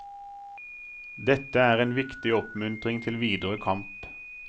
Dette er en viktig oppmuntring til videre kamp.